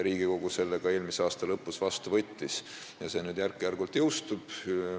Riigikogu võttis selle seaduse eelmise aasta lõpus ka vastu ja see nüüd järk-järgult jõustub.